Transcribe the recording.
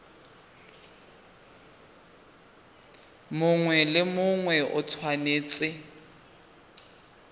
mongwe le mongwe o tshwanetse